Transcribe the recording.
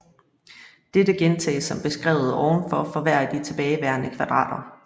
Dette gentages som beskrevet ovenfor for hver af de tilbageværende kvadrater